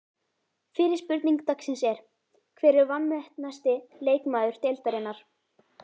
Fyrri spurning dagsins er: Hver er vanmetnasti leikmaður deildarinnar?